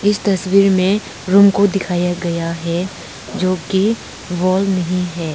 इस तस्वीर में रूम को दिखाया गया है जो कि वाल नहीं है।